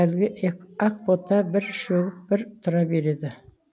әлгі ақбота бір шөгіп бір тұра береді